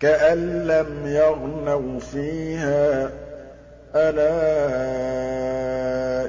كَأَن لَّمْ يَغْنَوْا فِيهَا ۗ أَلَا